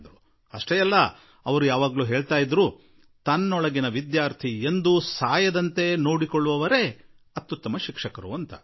ಅಷ್ಟೇ ಎಲ್ಲ ಅವರು ಸದಾ ಹೇಳುತ್ತಿದ್ದರು ಯಾವ ಶಿಕ್ಷಕನ ಒಳಗೆ ವಿದ್ಯಾರ್ಥಿ ಆದವನು ಎಂದಿಗೂ ಸಾಯುವುದಿಲ್ಲವೋ ಆತನೇ ಉತ್ತಮ ಶಿಕ್ಷಕ ಎನಿಸಿಕೊಳ್ಳುತ್ತಾನೆ ಎಂದು ಎಂದರು